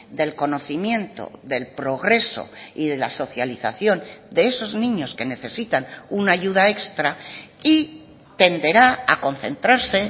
del conocimiento del progreso y de la socialización de esos niños que necesitan una ayuda extra y tenderá a concentrarse